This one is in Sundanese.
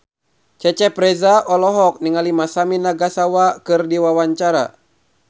Cecep Reza olohok ningali Masami Nagasawa keur diwawancara